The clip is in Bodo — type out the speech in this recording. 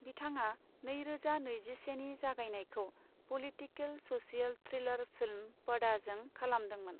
बिथाङा नैरोजा नैजिसेनि जागायनायखौ पलिटिकल स'शियेल थ्रिलार फिल्म पडाजों खालामदोंमोन।